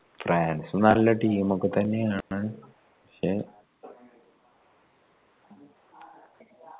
ഫ്രാൻസും നല്ല team ഒക്കെ തന്നെയാണ് പക്ഷെ